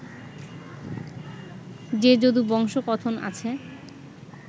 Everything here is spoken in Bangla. যে যদুবংশকথন আছে